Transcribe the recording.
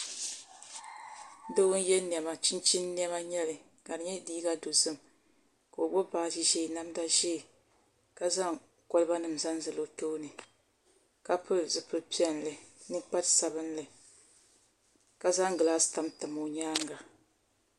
Doo n yɛ niɛma chinchin niɛma n nyɛli ka di nyɛ liiga dozim ka o gbubi baaji ʒiɛ namda ʒiɛ ka zaŋ kolba nim zaŋ zali o tooni ka pili zipili piɛlli ninkpari sabinli ka zaŋ gilaas kam tam o nyaanga